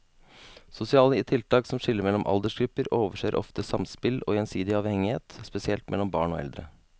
Sosiale tiltak som skiller mellom aldersgrupper overser ofte samspill og gjensidig avhengighet, spesielt mellom barn og eldre.